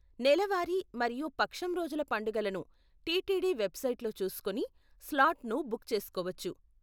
నెల వారీ మరియు పక్షం రోజుల పండుగలను టిటిడి వెబ్సైట్లో చూసుకొని, స్లాట్‌ను బుక్ చేసుకోవచ్చు.